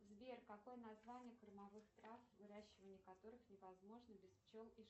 сбер какое название кормовых трав выращивание которых невозможно без пчел и